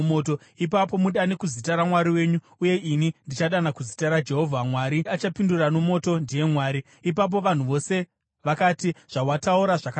Ipapo mudane kuzita ramwari wenyu, uye ini ndichadana kuzita raJehovha. Mwari achapindura nomoto ndiye Mwari.” Ipapo vanhu vose vakati, “Zvawataura zvakanaka.”